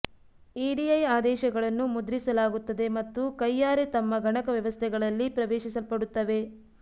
ಇಡಿಐ ಆದೇಶಗಳನ್ನು ಮುದ್ರಿಸಲಾಗುತ್ತದೆ ಮತ್ತು ಕೈಯಾರೆ ತಮ್ಮ ಗಣಕ ವ್ಯವಸ್ಥೆಗಳಲ್ಲಿ ಪ್ರವೇಶಿಸಲ್ಪಡುತ್ತವೆ